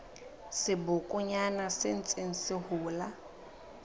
sebokonyana se ntseng se hola